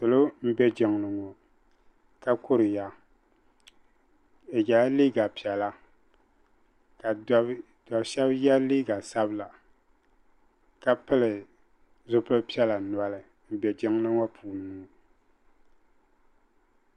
pilu n bɛ jin li ni ŋɔ ka kuriya be yɛla liga piɛlla ka do be shɛba yɛ liga sabila ka pili zupili piɛla noli n bɛ jin lili ŋɔ puni ŋɔ